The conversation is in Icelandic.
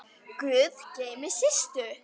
Guð geymi Systu.